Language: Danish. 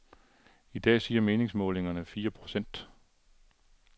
I dag siger meningsmålingerne fire procent.